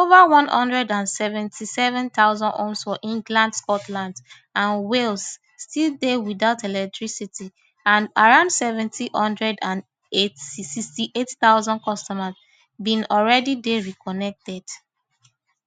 ova one hundred and seventy-seven thousand homes for england scotland and wales still dey without electricity and around seven hundred and sixty-eight thousand customers bin already dey reconnected